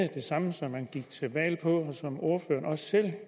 det samme som man gik til valg på og som ordføreren også selv